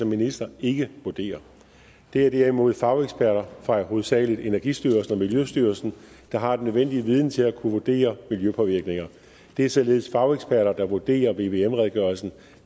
minister ikke vurdere det er derimod fageksperter fra hovedsagelig energistyrelsen og miljøstyrelsen der har den nødvendige viden til at kunne vurdere miljøpåvirkninger det er således fageksperter der vurderer vvm redegørelsen